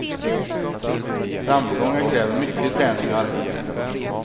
Framgångar kräver mycket träning och arbete.